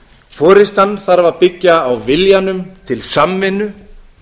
forustan þarf að byggja á viljanum til samvinnu